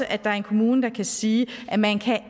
at der er en kommune der kan sige at man